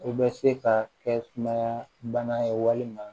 U bɛ se ka kɛ sumaya bana ye walima